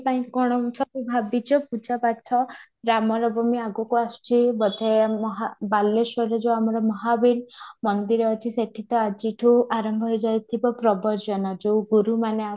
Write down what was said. ପାଇଁ କ'ଣ ସବୁ ଭାବିଛ ପୂଜା ପାଠ ବ୍ରାହ୍ମଣ ଭୂମି ଆଗକୁ ଆସୁଛି ବୋଧେ ମହା ବାଲେଶ୍ୱର ଯାଉ ଆମର ମହାବୀର ଅଛି ସେଇଠି ତ ଆଜିଠୁ ଆରମ୍ଭ ହେଇ ଯାଇଥିବ ପ୍ରବର୍ଚନ ଯାଉ ଗୁରୁ ମାନେ